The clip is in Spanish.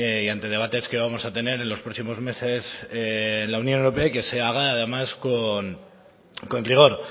y ante debates que vamos a tener en los próximos meses en la unión europea y que se haga además con rigor